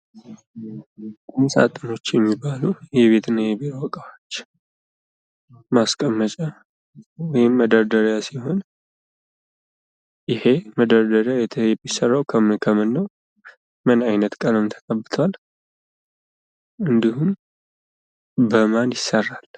ቁም ሳጥኖች የሚባሉ የቤት እና የቢሮ እቃዎች ማስቀመጫ ወይም መደርደሪያ ሲሆን ይሄ ደርደሪያ የሚሰራው ከምን ከምን ነው? ምን አይነት ቀለምስ ተቀብቷል? እንዲሁም በማን ይሰራል?